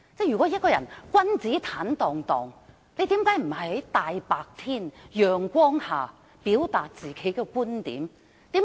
如果他真的君子坦蕩蕩，為甚麼他不在陽光下表達自己的觀點？